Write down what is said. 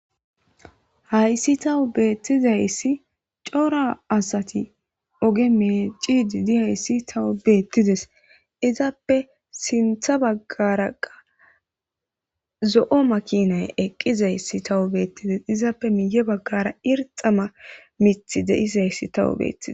Hayssi tawu beettizayssi cora asati oge mee cidiidi hayssi tawu beettides izaappe sintha baggaraqa zo'o makinay eqqizayssi tawu beettides izaappe miiye baggara irxama mithi deis hayssi tawu beettize.